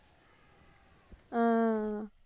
ஆஹ்